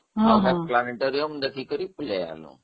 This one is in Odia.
planetorium ଦେଖିକି ପଳେଇ.